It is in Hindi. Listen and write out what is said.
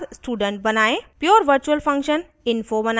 * प्योर virtual function info बनायें